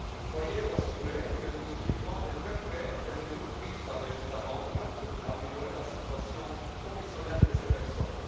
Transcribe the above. Soyez assurés que nous suivrons de très près les mesures prises par les États membres pour améliorer la situation professionnelle de ces personnes.